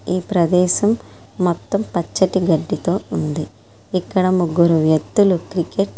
ఈ ప్రదేశం మొత్తం పచ్చటి గడ్డితో ఉంది ఎక్కడ ముగ్గురు వ్యక్తులు.